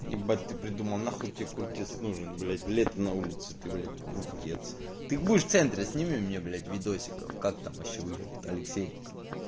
ебать ты придумал нахуй тебе куртец нужен блять лето на улице ты блять куртец ты будешь в центре сними мне блять видосиков как там вообще выглядит алексеевка